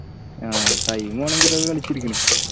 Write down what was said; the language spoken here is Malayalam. ആഹ് time പോണെങ്കിൽ ഇതൊക്കെ കളിച്ചിരിക്കണ്